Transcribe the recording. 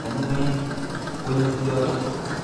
Ibwa kichanuet konyo yoto.